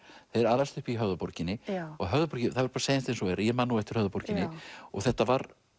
alast upp í Höfðaborginni og það verður að segjast eins og er að ég man nú eftir Höfðaborginni og þetta var